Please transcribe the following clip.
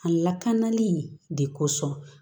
A lakanali de kosɔn